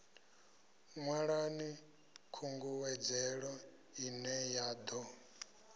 ṅwalani khungedzelo ine ya ḓo